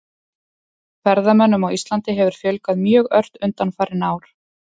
Ferðamönnum á Íslandi hefur fjölgað mjög ört undanfarin ár.